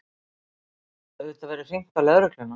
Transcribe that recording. Auðvitað verður hringt á lögregluna.